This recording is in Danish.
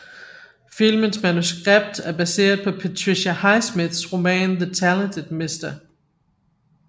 Filmens manuskript er baseret på Patricia Highsmiths roman The Talented Mr